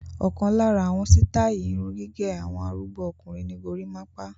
Ọ̀kan lára àwọn sítáátì irun gẹ́gẹ́ àwọn arúgbó ọkùnrin ni gorímápá.